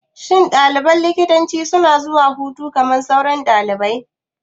Shin ɗaliban likitanci suna zuwa hutu kamar sauran ɗalibai?